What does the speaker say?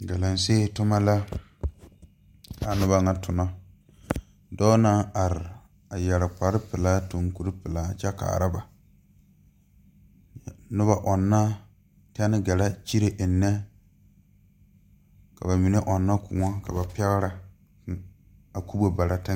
Galaŋsee toma la kaa nobɔ ŋa tonnɔ dɔɔ naŋ are a yɛre kparepelaa tuŋ kuripelaa kyɛ kaara ba nobɔ ɔŋnɔ tɛne gɛrɛ kyire eŋnɛ ka ba mine ɔŋnɔ kõɔ ka ba pɛgrɛ ne a kubo bara teŋɛ.